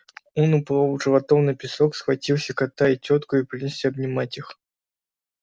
он упал животом на песок схватил кота и тётку и принялся обнимать их